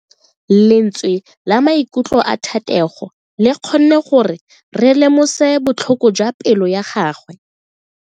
Lentswe la maikutlo a Thatego le kgonne gore re lemosa botlhoko jwa pelo ya gagwe.